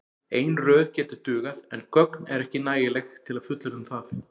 Ein röð gæti dugað en gögn eru ekki nægileg til að fullyrða um það.